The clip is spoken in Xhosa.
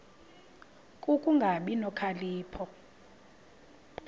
ku kungabi nokhalipho